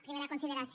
primera consideració